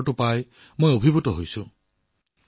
এই উপহাৰটো পাই মইও আপ্লুত হৈ পৰিলোঁ